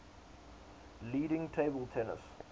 leading table tennis